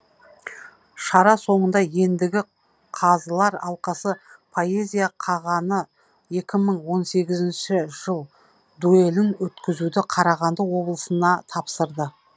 шара соңында ендігі қазылар алқасы поэзия қағаны екі мың он сегізінші жыл дуэлін өткізуді қарағанды облысына тапсырды